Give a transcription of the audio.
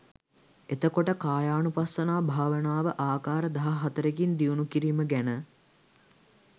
එතකොට කායානුපස්සනා භාවනාව ආකාර දහ හතරකින් දියුණු කිරීම ගැන